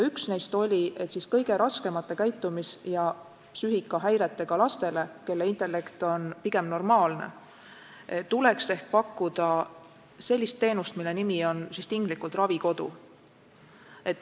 Üks neist oli, et kõige raskemate käitumis- ja psüühikahäiretega lastele, kelle intellekt on pigem normaalne, tuleks ehk pakkuda sellist teenust, mille nimi on tinglikult ravikodu.